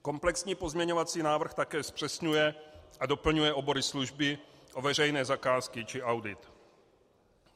Komplexní pozměňovací návrh také zpřesňuje a doplňuje obory služby o veřejné zakázky či audit.